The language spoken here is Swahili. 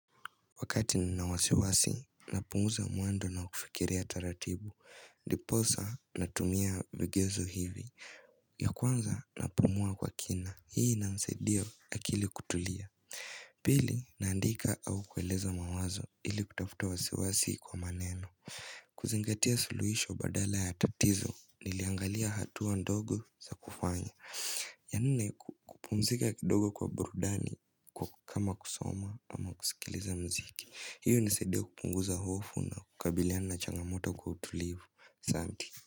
Wakati nina wasiwasi, napunguza mwendo na kufikiria taratibu, ndiposa natumia vigezo hivi ya kwanza napumua kwa kina, hii inansaidia akili kutulia Pili, naandika au kueleza mawazo ili kutafuta wasiwasi kwa maneno kuzingatia suluhisho badala ya tatizo, niliangalia hatua ndogo za kufanya ya nne kupumzika kidogo kwa burudani kwa kama kusoma ama kusikiliza mziki hiyo hunisaidia kupunguza hofu na kukabiliana na changamoto kwa utulivu.